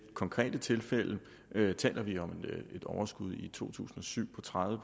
konkrete tilfælde taler vi om et overskud i to tusind og syv på tredive